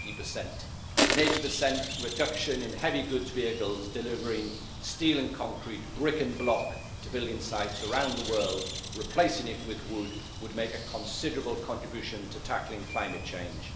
80. An 80 reduction in heavy goods vehicles delivering steel and concrete, brick and block to building sites around the world, replacing it with wood, would make a considerable contribution to tackling climate change.